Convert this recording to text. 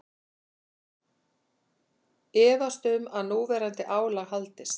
Efast um að núverandi álag haldist